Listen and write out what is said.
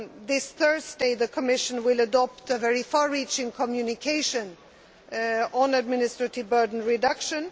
This Thursday, the Commission will adopt a very far reaching Communication on administrative burden reduction.